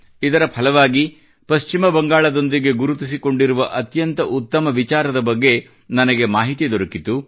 ಇದರ ಫಲವಾಗಿ ಪಶ್ಚಿಮ ಬಂಗಾಲದೊಂದಿಗೆ ಗುರುತಿಸಿಕೊಂಡಿರುವ ಅತ್ಯಂತ ಉತ್ತಮ ವಿಚಾರದ ಬಗ್ಗೆ ನನಗೆ ಮಾಹಿತಿ ದೊರಕಿತು